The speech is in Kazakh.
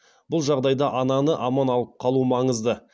бұл жағдайда ананы аман алып қалу маңызды